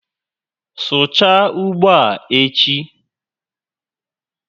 Sụchaa ugbo a echi